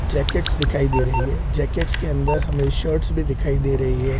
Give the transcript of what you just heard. Jackets दिखाई दे रही है जैकेट्स के अंदर हमें शर्ट्स भी दिखाई दे रही है।